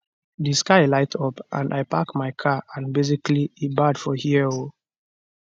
di sky light up and i park my car and basically e bad for here oo